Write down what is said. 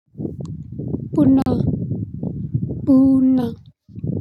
ቡና ቡና።